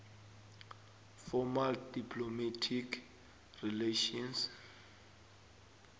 formal diplomatic relations